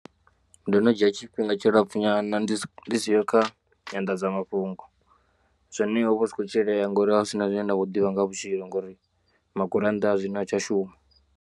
Ndo no dzhia tshifhinga tshilapfu nyana ndi siho kha nyandadzamafhungo zwone ho vha hu si khou tshilea ngori ha hu sina zwine nda kho ḓivha nga ha vhutshilo ngori magurannda a zwino ha tsha shuma.